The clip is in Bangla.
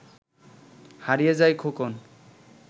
হারিয়ে যায় খোকন